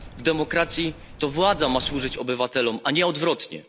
W demokracji to władza ma służyć obywatelom, a nie odwrotnie.